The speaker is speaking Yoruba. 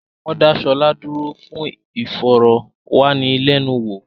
Wọ́n dá Ṣọlá dúró fún ìfọ̀rọ̀ wá ni lẹ́nu wò